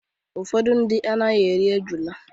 Ụfọdụ ndị anaghị eri ejula.